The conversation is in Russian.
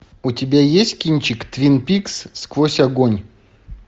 у тебя есть кинчик твин пикс сквозь огонь